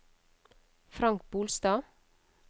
Frank Bolstad